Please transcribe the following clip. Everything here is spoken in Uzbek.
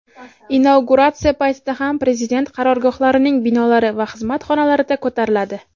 inauguratsiya paytida hamda prezident qarorgohlarining binolari va xizmat xonalarida ko‘tariladi.